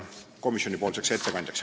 Aitäh!